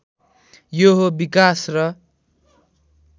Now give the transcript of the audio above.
यो हो विकास र